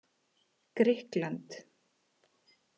Grikkland